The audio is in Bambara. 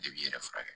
I b'i yɛrɛ furakɛ